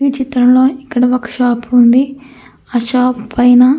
ఈ చిత్రంలో ఇక్కడ ఒక షాపు ఉంది. ఆ షాపు పైన--